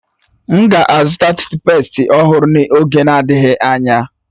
M ga-azụta tuutpestị ọhụrụ n'oge adịghị anya.